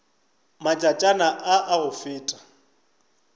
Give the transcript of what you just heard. matšatšana a a go feta